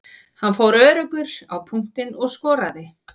Hann fór öruggur á punktinn og skoraði.